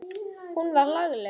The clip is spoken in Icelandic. Hún var lagleg.